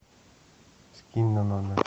скинь на номер